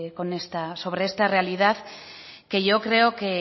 sobre esta realidad que yo creo